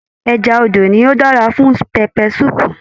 Ẹja odò nì o dára fún pẹpẹ sùúpù.